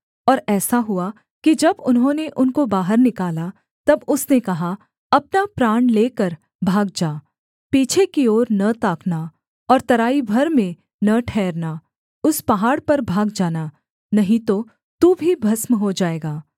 और ऐसा हुआ कि जब उन्होंने उनको बाहर निकाला तब उसने कहा अपना प्राण लेकर भाग जा पीछे की ओर न ताकना और तराई भर में न ठहरना उस पहाड़ पर भाग जाना नहीं तो तू भी भस्म हो जाएगा